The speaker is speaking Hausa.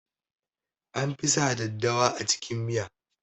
An fi sa daddawa a cikin miya